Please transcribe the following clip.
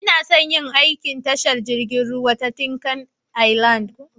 Ina son yin aiki a tashar jiragen ruwa ta Tinkan Island.